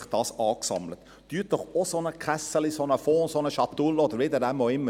Machen Sie doch auch ein solches «Kässeli», einen solchen Fonds, eine Schatulle, oder wie Sie es nennen wollen.